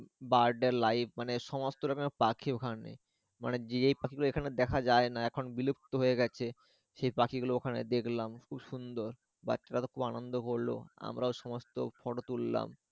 bird life মানে সমস্ত রকমের পাখি ওখানে মানে যেই পাখি গুলো এখানে দেখা যায় না এখন বিলুপ্ত হয়ে গেছে সেই পাখি গুলো ওখানে দেখলাম খুব সুন্দর বাচ্চারা খুব আনন্দ করলো আমরাও সমস্ত photo তুললাম।